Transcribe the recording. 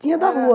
Tinha da rua.